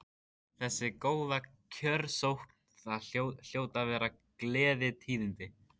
Þessi góða kjörsókn, það hljóta að vera gleðitíðindi?